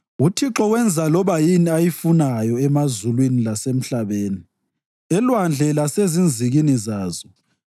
UThixo wenza loba yini ayifunayo, emazulwini lasemhlabeni, enlwandle lasezinzikini zazo.